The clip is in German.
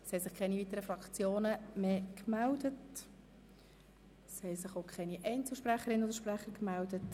Es haben sich keine weiteren Fraktionen und auch keine Einzelsprechenden mehr gemeldet.